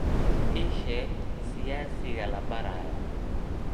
ii sheeg siyaasiga la baarayo